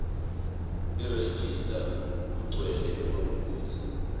nerejista kugcwele emaphutsa